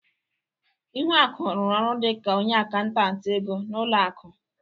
Ihuaku rụrụ ọrụ dị ka onye akantati ego n'ụlọ akụ.